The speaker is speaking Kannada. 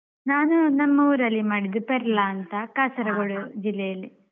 ನಾನು ನಮ್ಮ ಊರಲ್ಲೇ ಮಾಡಿದ್ದೂ ಪೆರ್ಲ ಅಂತ ಕಾಸರ್ಗೋಡ್ ಜಿಲ್ಲೆ ಅಲ್ಲಿ.